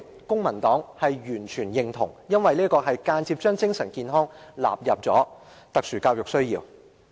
公民黨完全認同這一點，因為這是間接將精神健康納入特殊教育需要。